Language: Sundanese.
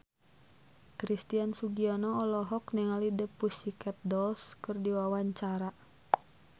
Christian Sugiono olohok ningali The Pussycat Dolls keur diwawancara